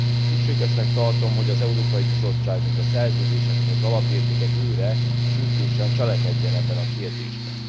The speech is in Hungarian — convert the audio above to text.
Szükségesnek tartom, hogy az Európai Bizottság, mint a Szerződések és az alapértékek őre, sürgősen cselekedjen ebben a kérdésben.